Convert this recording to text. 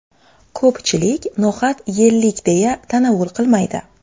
Ko‘pchilik no‘xat yellik, deya tanovul qilmaydi.